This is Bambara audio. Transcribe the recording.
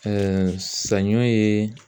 saɲɔ ye